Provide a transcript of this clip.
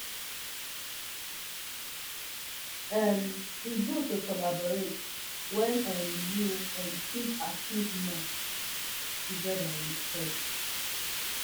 um e good to collaborate wen um you um fit achieve more togeda wit frends